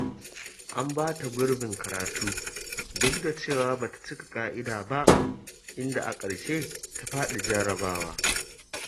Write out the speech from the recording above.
An ba ta gurbin karatu duk da cewa ba ta cika ƙa'ida ba, inda a ƙarshe ta faɗi jarrabawa.